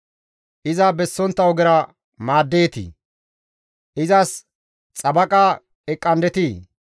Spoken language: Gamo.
Iza bessontta ogera maaddeetii? Izas xabaqa eqqandetii?